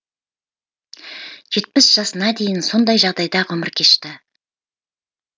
жетпіс жасына дейін сондай жағдайда ғұмыр кешті